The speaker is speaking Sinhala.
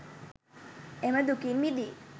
එම දුකින් මිදී